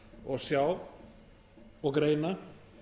og sjá og greina